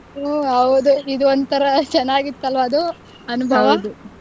ಹ್ಮ್ ಹೌದು ಇದೊಂತರ ಚೆನ್ನಾಗಿತ್ತು ಅಲ್ವಾ ಅದು ಅನುಭವ .